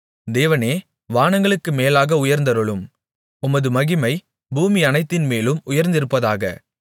தேவனே வானங்களுக்கு மேலாக உயர்ந்தருளும் உமது மகிமை பூமியனைத்தின்மேலும் உயர்ந்திருப்பதாக